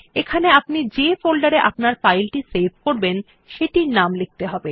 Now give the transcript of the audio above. এখানে আপনি যে ফোল্ডারে আপনার ফাইল সেভ করবেন সেটির নাম লিখতে হবে